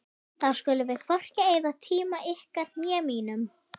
Jóhann: Við hverju búist þið í framhaldinu?